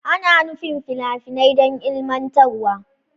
Ana nufin fina-finai don ilmantarwa.